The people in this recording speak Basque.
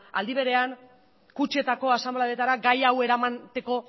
aldi berean kutxetako asanbladetara gai hau eramateko